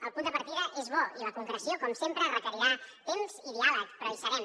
el punt de partida és bo i la concreció com sempre requerirà temps i diàleg però hi serem